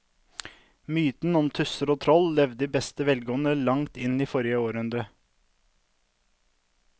Mytene om tusser og troll levde i beste velgående til langt inn i forrige århundre.